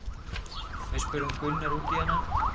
Við spurðum Gunnar út í hana?